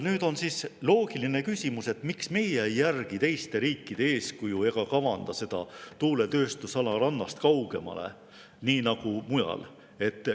Nüüd on siis loogiline küsimus, et miks meie ei järgi teiste riikide eeskuju ega kavanda seda tuuletööstusala rannast kaugemale, nii nagu mujal.